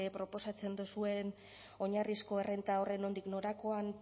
proposatzen duzuen oinarrizko errenta horren nondik norakoan